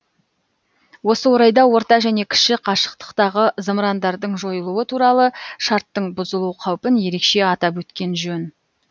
осы орайда орта және кіші қашықтықтағы зымырандардың жойылуы туралы шарттың бұзылу қаупін ерекше атап өткен жөн